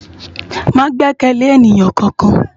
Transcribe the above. Má gbèkèlé éniyán kánkán